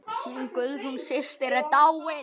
Hún Guðrún systir er dáin.